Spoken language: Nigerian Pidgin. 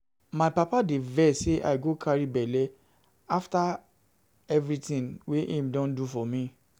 My papa dey vex sey I go carry belle after evrytin wey im don do for me.